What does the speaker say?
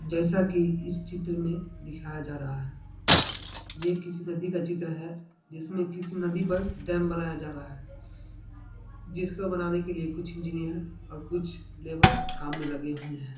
जैसा कि इस चित्र में दिखाया जा रहा है यह किसी नदी का चित्र है जिसमें किसी नदी पर डैम बनाया जा रहा है। जिसको बनाने के लिए कुछ इंजीनियर और कुछ लेबर काम में लगे हुए हैं।